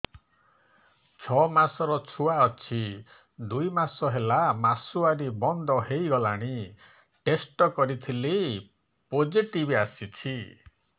ଛଅ ମାସର ଛୁଆ ଅଛି ଦୁଇ ମାସ ହେଲା ମାସୁଆରି ବନ୍ଦ ହେଇଗଲାଣି ଟେଷ୍ଟ କରିଥିଲି ପୋଜିଟିଭ ଆସିଛି